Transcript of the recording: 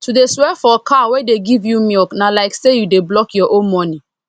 to dey swear for cow wey dey give you milk na like say you dey block your own money